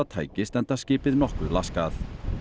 tækist enda skipið nokkuð laskað